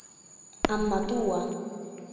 Amma Dúa.